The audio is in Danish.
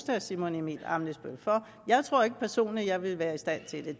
herre simon emil ammitzbøll for jeg tror ikke personligt at jeg ville være i stand til det